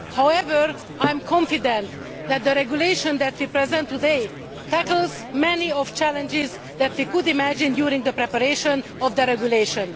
However, I am confident that the regulation that we present today tackles many of the challenges that we could imagine during the preparation of the regulation.